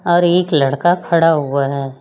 और एक लड़का खड़ा हुआ है।